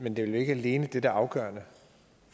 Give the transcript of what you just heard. men det er vel ikke alene det der er afgørende